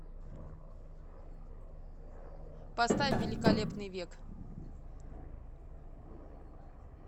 поставь великолепный век